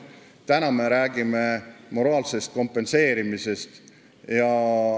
Täna me räägime moraalsest kompenseerimisest.